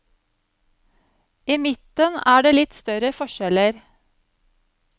I midten er det litt større forskjeller.